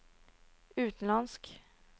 utenlandsk